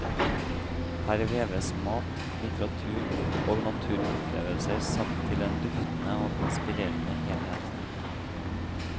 Her veves mat, litteratur og naturopplevelser sammen til en duftende og inspirerende helhet.